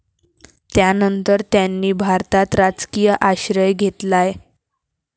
त्यानंतर त्यांनी भारतात राजकीय आश्रय घेतलाय.